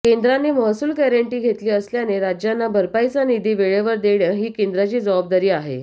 केंद्राने महसुल गॅरन्टी घेतली असल्याने राज्यांना भरपाईचा निधी वेळेवर देणे ही केंद्राची जबाबदारी आहे